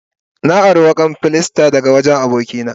Na ari wukan filasta daga wajen abokina.